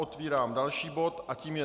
Otevírám další bod a tím je